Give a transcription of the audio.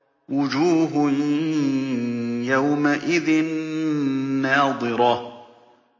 وُجُوهٌ يَوْمَئِذٍ نَّاضِرَةٌ